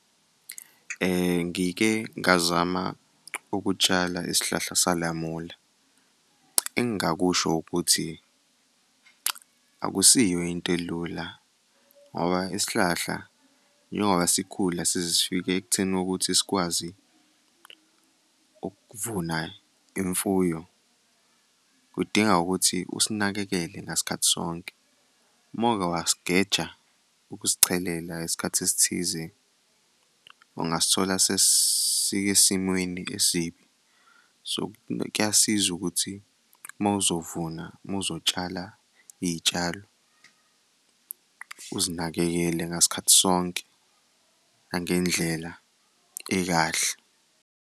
Ngike ngazama ukutshala isihlahla salamula, engingakusho ukuthi akusiyo into elula ngoba isihlahla njengoba sikhula size sifike ekutheni ukuthi sikwazi ukuvuna imfuyo kudinga ukuthi usinakekele ngasikhathi sonke. Uma uke wasigeja ukusichelela isikhathi esithize ungasithola sesisesimweni esibi. So kuyasiza ukuthi uma uzovuna, uma uzotshala iy'tshalo, uzinakekele ngasikhathi sonke nangendlela ekahle.